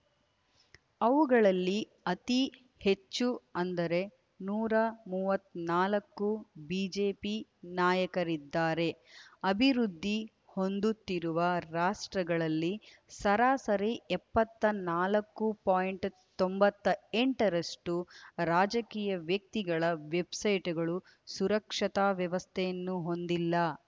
ಅವುಗಳಲ್ಲಿ ಅತಿ ಹೆಚ್ಚು ಅಂದರೆ ನೂರ ಮೂವತ್ತ್ ನಾಲ್ಕು ಬಿಜೆಪಿ ನಾಯಕರಿದ್ದಾರೆ ಅಭಿವೃದ್ಧಿ ಹೊಂದುತ್ತಿರುವ ರಾಷ್ಟ್ರಗಳಲ್ಲಿ ಸರಾಸರಿ ಎಪ್ಪತ್ತ್ ನಾಲ್ಕು ಪೋಯಿಂಟ್ ತೊಂಬತ್ತೆಂಟರಷ್ಟು ರಾಜಕೀಯ ವ್ಯಕ್ತಿಗಳ ವೆಬ್‌ಸೈಟ್‌ಗಳು ಸುರಕ್ಷತಾ ವ್ಯವಸ್ಥೆಯನ್ನು ಹೊಂದಿಲ್ಲ